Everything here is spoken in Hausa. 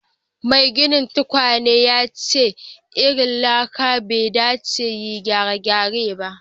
Maiginin tukwanen yace irin lakan bai dace yin gyare-gyare ba.